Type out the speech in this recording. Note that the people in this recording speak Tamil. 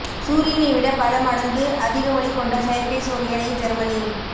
சூரியனை விட பல மடங்கு அதிக ஒளி கொண்ட செயற்கை சூரியனை ஜெர்மனி